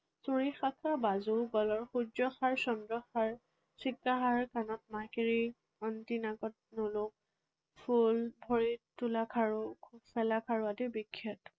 চুৰি, বাজু গলৰ সূৰ্যহাৰ, চন্দ্ৰ হাৰ, সীতাহাৰ, কাণত ফুল, ভৰিত তোলা খাৰু, খাৰু আদি বিখ্যাত।